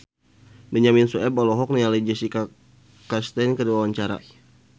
Benyamin Sueb olohok ningali Jessica Chastain keur diwawancara